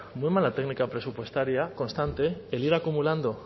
muy mala técnica presupuestaria constante el ir acumulando